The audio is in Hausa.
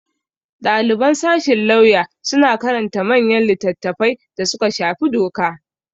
Ɗaliban sashin lauya suna karanta manyan litattafai da suka shafi doka.